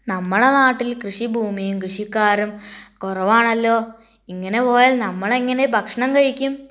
നമ്മൾ നാട്ടിൽ കൃഷി ഭൂമിയും കൃഷിക്കാരും കുറവാണല്ലോ ഇങ്ങനെ പോയാൽ നമ്മൾ എങ്ങനെ ഭക്ഷണം കഴിക്കും